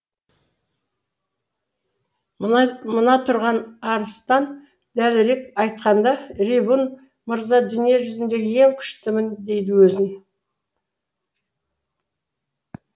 мына тұрған арыстан дәлірек айтқанда ривун мырза дүние жүзіндегі ең күштімін дейді өзін